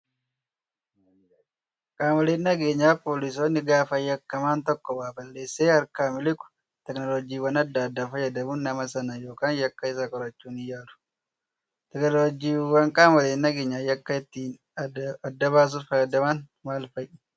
Qaamoleen nageenyaa poolisoonni gaafa yakkamaan tokko waa balleessee harkaa miliqu teekinooloojiiwwan adda addaa fayyadamuun nama sana yookaan yakka isaa qorachuuf ni yaalu. Teekinooloojiiwwan qaamoleen nageenyaa yakka ittiin addabaasuuf fayyadaman maal fa'ii?